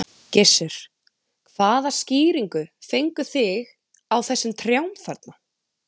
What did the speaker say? Gissur: Hvaða skýringu fengu þig á þessum trjám þarna?